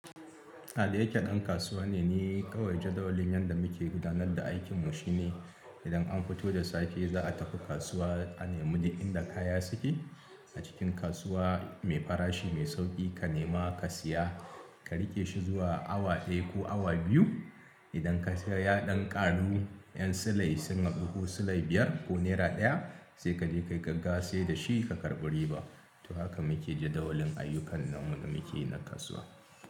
Ah da yake ɗan kasuwa ne ni kawai jadawalin yanda muke gudanar da aikin mu shine. Idan an fito da safe za a tafi kasuwa a nemi duk inda kaya suke. A cikin kasuwa mai farashi, mai sauƙi ka nema ka siya, ka riƙe shi zuwa awa ɗaya ko awa biyu. Idan ka sai ya ɗan ƙaru ƴan silai sun haɗu ko silai biyar ko naira ɗaya sai kaje ka yi gaggawa saida shi ka karɓi riba. To haka muke jadawalin ayyukan namu da mukeyi na kasuwa.